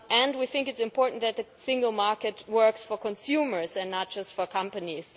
We think it is important that the single market works for consumers and not just for companies.